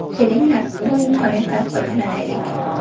Kelinglar, bu imkoniyatdan foydalanaylik.